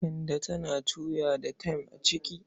Kande tana tuya da tem a ciki.